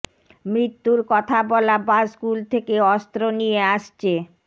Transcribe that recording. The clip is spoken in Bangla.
মৃত্যুর কথা বলা বা স্কুল থেকে অস্ত্র নিয়ে আসছে